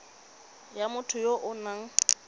ya motho ya o nang